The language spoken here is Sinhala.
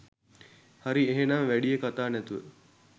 හරි එහෙනම් වැඩිය කතා නැතුව